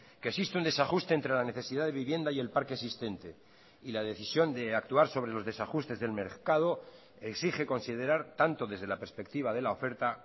que existe un desajuste entre la necesidad de vivienda y el parque existente y la decisión de actuar sobre los desajustes del mercado exige considerar tanto desde la perspectiva de la oferta